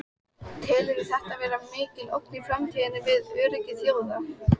Telurðu þetta vera mikla ógn í framtíðinni við öryggi þjóða?